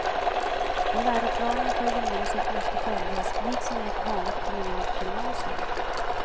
Och läroplanen för gymnasiet måste följas, liksom i ett vanligt kommunalt gymnasium.